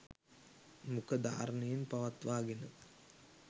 මුඛ ධාරණයෙන් පවත්වාගෙන